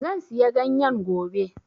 Zan siya ganyen gobe